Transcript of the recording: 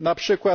np.